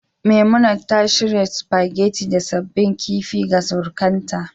Memunant ta shirya spaghetti da sabbin kifi ga surukanta